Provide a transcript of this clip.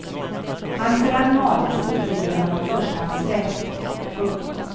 Hans rang och adelstitel ger honom förstahandsrätt. punkt